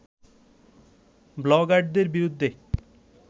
ব্লগারদের বিরুদ্ধে